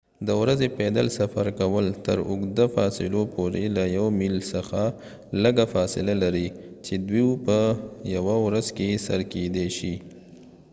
د ورځې پیدل سفر کول تر اوږده فاصلو پورې له یو میل څخه لږه فاصله لري چې دوی په یوه ورځ کې سر کیدی شي